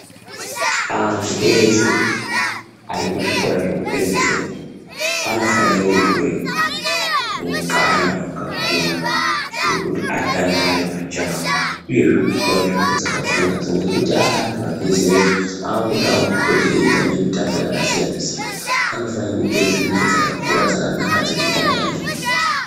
Antu eshe arikuzvikora zvekupedzesera, anofanire kupuwe mukana wakakura wekuti atandare pachawo, uyezve kupuwa nzvimbo dzakakura. Ngekuti aantu abve zera, aakudawo kupote eitamba mitambo yakasiyana-siyana. Anofane kupuwa nzvimbo dzakakura dzakanaka dzekutandarira.